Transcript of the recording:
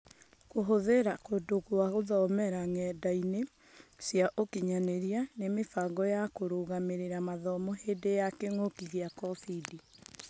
Kũhũthĩra kũndũ gũa gũthomera ng'enda-inĩ cia ũkinyanĩria na mĩbango ya kũrũgamĩrĩra mathomo hĩndĩ ya kĩng'ũki gĩa Kobindi.